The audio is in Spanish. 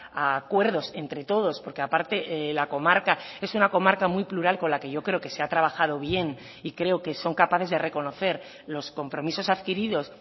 a acuerdos entre todos porque aparte la comarca es una comarca muy plural con la que yo creo que se ha trabajado bien y creo que son capaces de reconocer los compromisos adquiridos